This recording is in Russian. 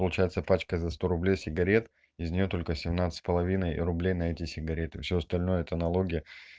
получается пачка за сто рублей сигарет из нее только семнадцать с половиной рублей на эти сигареты всё остальное это налоги